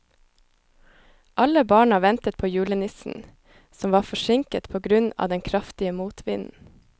Alle barna ventet på julenissen, som var forsinket på grunn av den kraftige motvinden.